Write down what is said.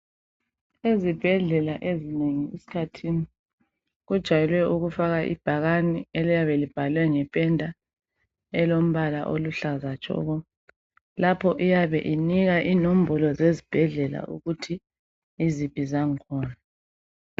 Ezibhedlela ezinengi esikhathini kujayelwe ukufaka ibhakani eliyabe libhalwe ngependa elombala okuhlaza tshoko lapho iyabe inika inombolo zesibhedlela ukuthi yiziphi zakhona